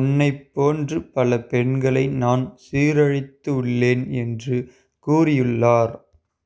உன்னைப் போன்று பல பெண்களை நான் சீரழித்து உள்ளேன் என்று கூறியுள்ளார்